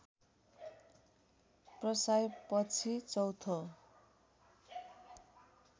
प्रसाईँ पछि चौथो